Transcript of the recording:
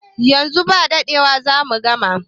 Yanzu ba dadewa zamu gama